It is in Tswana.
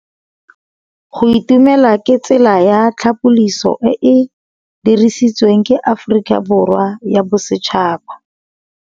Go itumela ke tsela ya tlhapolisô e e dirisitsweng ke Aforika Borwa ya Bosetšhaba.